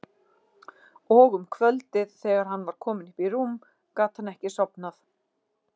Og um kvöldið þegar hann var kominn upp í rúm gat hann ekki sofnað.